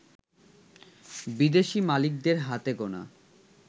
বিদেশি মালিকদের হাতে গোনা